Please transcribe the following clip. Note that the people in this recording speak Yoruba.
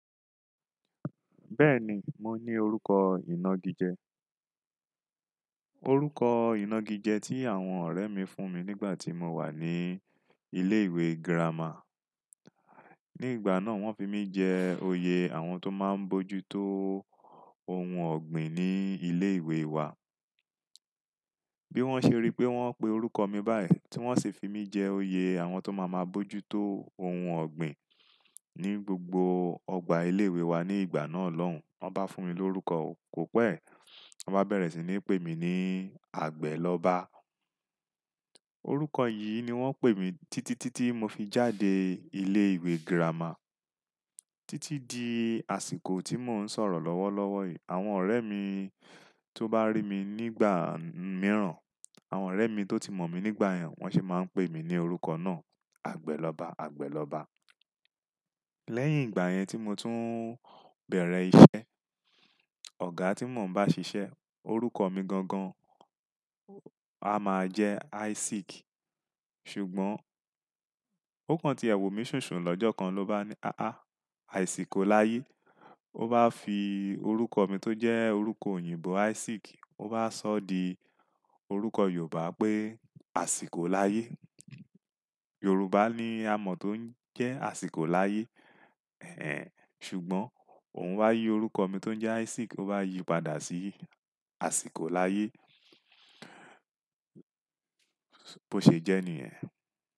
Bẹ́ẹ̀ni, mo ní orúkọ ìnagijẹ. Orúkọ ìnagijẹ tí àwọn ọ̀rẹ́ mi fún mi nígbà tí mo wà ní ilé ìwé gírámà. Ní ìgbà náà wọ́n fi mí jẹ oyè àwọn tó máa ń bójú tó ohun ọ̀gbìn ní ilé ìwé wa. Bí wọ́n ṣe rí pé wọ́n pe orúkọ mi báyìí tí wọ́n sì fi mí jẹ oyè àwọn tó máa máa bójú tó ohun ọ̀gbìn ní gbogbo ọgbà ilé ìwé wa ní ìgbà náà lọ́hùn, wọ́n bá fún mi lórúkọ kò pẹ́, wọ́n bá bẹ̀rẹ̀ sí ní pè mí ní Àgbẹ̀ lọ́ba. Orúkọ yìí ni wọ́n pè mí títí, títí mo fi jáde ilé ìwé gírámà. Títí di àsìkò tí mò ń sọ̀rọ̀ lọ́wọ́ lọ́wọ́ yìí, àwọn ọ̀rẹ́ mi tó bá rí mi nígbà mìíràn, àwọn ọ̀rẹ́ mi tó ti mọ̀ mí nígbà yẹn wọ́n sì máa ń pè mí ní orúkọ náà, Àgbẹ̀ lọ́ba, Àgbẹ̀ lọ́ba. Lẹ́yìn ìgbà yẹn tí mo tún bẹ̀rẹ̀ iṣẹ́, ọ̀gá tí mò ń bá ṣiṣẹ́ orúkọ mi gangan a máa jẹ Isaac. Ṣùgbọ́n ó kan ti ẹ wọ̀ mi sùnsun lọ́jọ́ kan ló bá ní, "Aáà, Àsíkò láyé." Ó bá fi orúkọ mi tó jẹ́ orúkọ òyìnbó Isaac, ó bá sọ di orúkọ Yorùbá pé Àsíkò láyé. Yorùbá ni a mọ̀ tó ń jẹ́ Àsíkò láyé. Ẹ̀hẹn. Ṣùgbọ́n òun wá yí orúkọ mi tó jẹ́ Isaac ó bá yí padà sí Àsíkò láyé. Bó ṣe jẹ́ níyen.